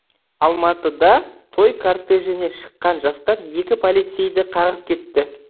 алматыда той кортежіне шыққан жастар екі полицейді қағып кетті